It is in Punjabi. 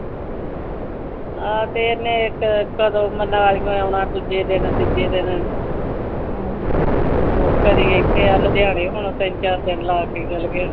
ਆਹ ਤਾ ਇਹਨੇ ਇਕ ਕਦੋ ਮਨਾਲੀਓ ਆਉਣਾ ਦੂਜੇ ਦਿਨ ਤੀਜੇ ਦਿਨ ਕਦੇ ਇਥੇ ਆਹ ਲੁਧਿਆਣੇ ਹੁਣ ਤਿੰਨ ਚਾਰ ਦਿਨ ਲਾਕੇ ਚੱਲ ਗਿਆ।